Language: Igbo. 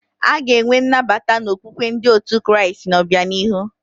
A ga-enwe nnabata na okpukpe ndị otu Kraịst n'obianihu.